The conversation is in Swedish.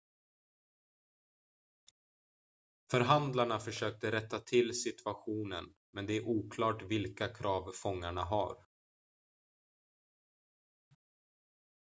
förhandlarna försökte rätta till situationen men det är oklart vilka krav fångarna har